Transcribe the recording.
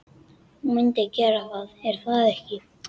Þú myndir gera það, er það ekki?